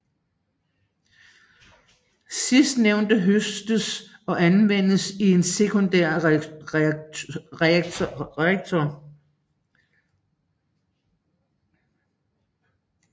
Sidstnævnte høstes og anvendes i en sekundær reaktor